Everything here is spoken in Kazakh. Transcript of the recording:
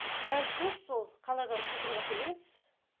газ жоқ сол қаладан құйдырып әкелеміз